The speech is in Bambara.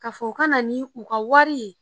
Ka fɔ u ka na nin u ka wari ye